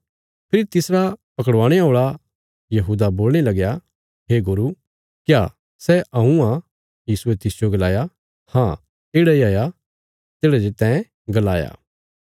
फेरी तिसरा पकड़वाणे औल़ा यहूदा बोलणे लगया हे गुरू क्या सै हऊँ आ यीशुये तिसजो गलाया हाँ येढ़ा इ हाया तेढ़ा जे तैं गलाया